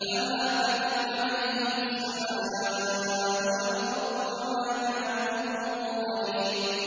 فَمَا بَكَتْ عَلَيْهِمُ السَّمَاءُ وَالْأَرْضُ وَمَا كَانُوا مُنظَرِينَ